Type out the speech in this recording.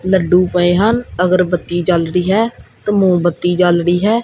ਲੱਡੂ ਪਏ ਹਨ ਅਗਰ ਬੱਤੀ ਜਲ ਰਹੀ ਹੈ ਤੇ ਮੋਮਬੱਤੀ ਜਲ ਰੀ ਹੈ।